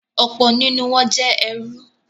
Ọ̀pọ̀ nínú wọ́n jẹ́ ẹrú.